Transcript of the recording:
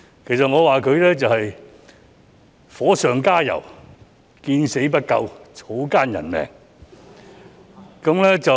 其實，我覺得他是在火上加油、見死不救、草菅人命。